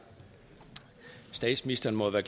statsministeren må jo